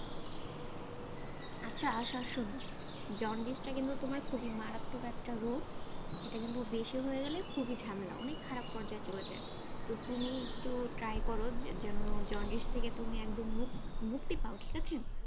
আচ্ছা আশা শোনো, জন্ডিসটা কিন্তু তোমার খুবই মারাত্মক একটা রোগ, এটা কিন্তু বেশি হয়ে গেলে ঝামেলা অনেক খারাপ পর্যায়ে চলে যায়, তো তুমি একটু try কর যেন জন্ডিস থেকে তুমি একদম মুক্তি মুক্তি পাও ঠিক আছে.